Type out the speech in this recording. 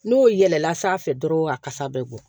N'o yɛlɛla sanfɛ dɔrɔn a kasa bɛ bɔ